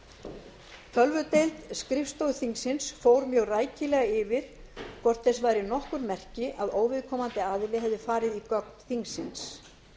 ekki aðra tölvudeild skrifstofu þingsins fór mjög rækilega yfir hvort þess væru nokkur merki að óviðkomandi aðili hefði farið í gögn þingsins